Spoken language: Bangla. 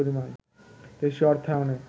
দেশীয় অর্থায়নে